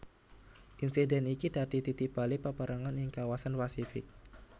Insiden iki dadi titik balik paperangan ing kawasan Pasifik